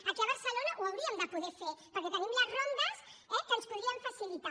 aquí a barcelona ho hauríem de poder fer perquè tenim les rondes eh que ens ho podrien facilitar